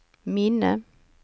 minne